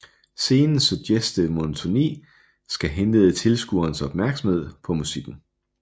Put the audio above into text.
Scenens suggestive monotoni skal henlede tilskuerens opmærksomhed på musikken